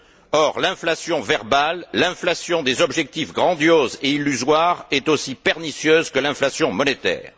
Or, l'inflation verbale, l'inflation des objectifs grandioses et illusoires est aussi pernicieuse que l'inflation monétaire.